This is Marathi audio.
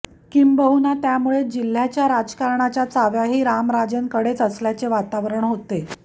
किंबहुना त्यामुळेच जिल्ह्याच्या राजकारणाच्या चाव्याही रामराजेंकडेच असल्याचे वातावरण होते